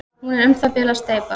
hún er um það bil að steypast